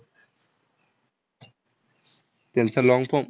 त्यांचा long form